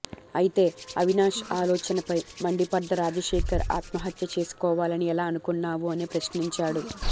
అయితే అవినాష్ ఆలోచనపై మండిపడ్డ రాజశేఖర్ ఆత్మహత్య చేసుకోవాలని ఎలా అనుకున్నావు అని ప్రశ్నించాడు